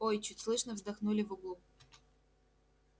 ой чуть слышно вздохнули в углу